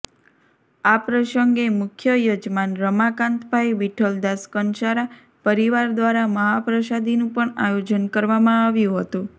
આ પ્રસંગે મુખ્ય યજમાન રમાકાન્તભાઈ વિઠ્ઠલદાસ કંસારા પરીવાર દ્વારા મહાપ્રસાદીનું પણ આયોજન કરવામાં આવ્યું હતું